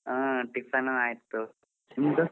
ಹಾ tiffin ಆಯ್ತು ನಿಮ್ದ?